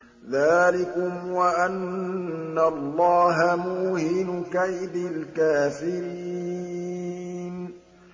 ذَٰلِكُمْ وَأَنَّ اللَّهَ مُوهِنُ كَيْدِ الْكَافِرِينَ